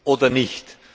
oder nicht.